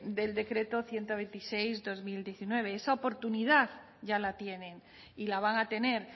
del decreto ciento veintiséis barra dos mil diecinueve esa oportunidad ya la tienen y la van a tener